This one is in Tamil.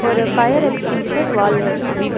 ஒரு ஃபயர் எக்ச்டிங்ஷர் வால்ல இருக்கு.